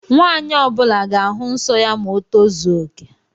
Nwanyi ọbula ga-ahu nsọ ya ma o tozuoke